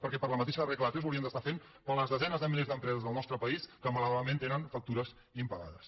perquè per la mateixa regla de tres ho haurien d’estar fent per a les desenes de milers d’empreses del nostre país que malauradament tenen factures impagades